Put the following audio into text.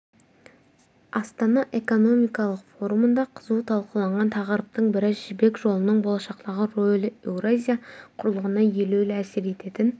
астана экономикалық форумында қызу талқыланған тақырыптың бірі жібек жолының болашақтағы ролі еуразия құрлығына елеулі әсер ететін